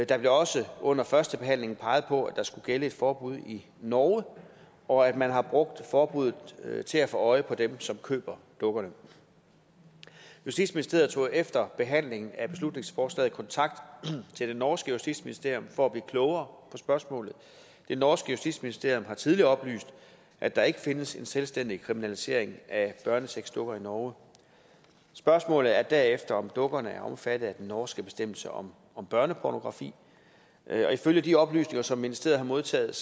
der blev også under førstebehandlingen peget på at der skulle gælde et forbud i norge og at man har brugt forbuddet til at få øje på dem som køber dukkerne justitsministeriet tog efter behandlingen af beslutningsforslaget kontakt til det norske justitsministerium for at blive klogere på spørgsmålet det norske justitsministerium har tidligere oplyst at der ikke findes en selvstændig kriminalisering af børnesexdukker i norge spørgsmålet er derefter om dukkerne er omfattet af den norske bestemmelse om børnepornografi og ifølge de oplysninger som ministeriet har modtaget